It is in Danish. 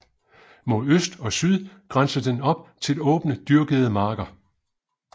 Mod øst og syd grænser den op til åbne dyrkede marker